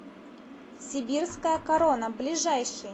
сибирская корона ближайший